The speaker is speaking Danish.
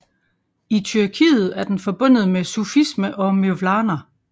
I Tyrkiet er den forbundet med sufisme og Mevlana